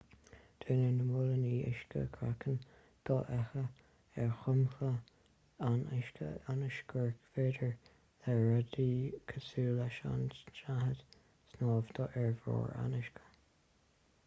déanann na móilíní uisce craiceann dofheicthe ar dhromchla an uisce ionas gur féidir le rudaí cosúil leis an tsnáthaid snámh ar bharr an uisce